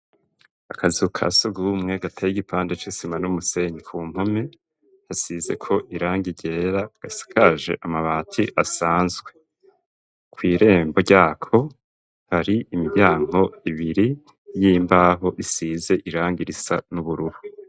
Akazu ka sugumwe gateye igipande c'isima n'umusenyi ku mpome hasizeko irangi ryera gasakaje amabati asanzwe kw'irembo ryako hari imiryango ibiri y'imbaho isize iranga risa n'ubururu.